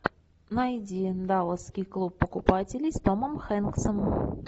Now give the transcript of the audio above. найди далласский клуб покупателей с томом хэнксом